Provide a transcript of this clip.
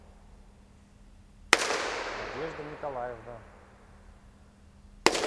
надежда николаевна